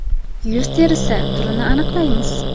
Yuz terisi turini aniqlaymiz .